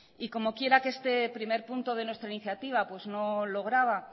y como quiera que este primer punto de nuestra iniciativa no lograba